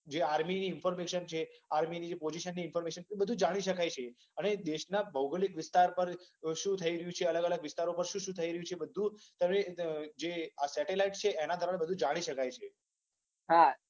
આર્મીની information છે, આર્મીની જે પોઝીશન અને ઈન્ફર્મેશન એ બધુ જાણી શકાય છે. અને દેશની ભૌગોલીક વિસ્તાર પર શું થઈ રહ્યુ છે. અલગ અલગ વિસ્તારમાં શુ થઈ રહ્યુ છે. એ બધુ જે આ સેટેલાઈટ જે છે એના દ્રારા જાણી શકાય છે.